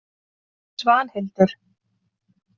Svanhildur